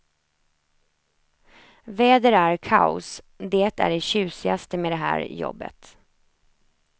Väder är kaos, det är det tjusigaste med det här jobbet.